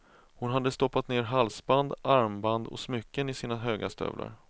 Hon hade stoppat ner halsband, armband och smycken i sina höga stövlar.